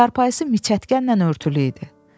Çarpayısı miçətkənlə örtülü idi.